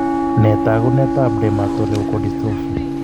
Nee taakunetaab dermatoleukodystrophy?